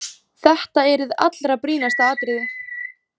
Þetta er hið allra brýnasta atriði.